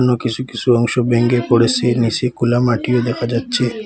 কিসু কিসু অংশ ভেঙ্গে পড়েসে নীসে খোলা মাটিও দেখা যাচ্ছে।